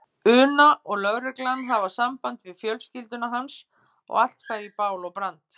una og lögreglan hafa samband við fjölskylduna hans og allt færi í bál og brand.